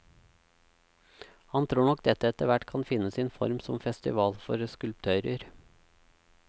Han tror nok dette etterhvert kan finne sin form som festival for skulptører.